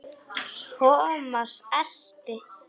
Thomas elti.